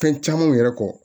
Fɛn camanw yɛrɛ kɔ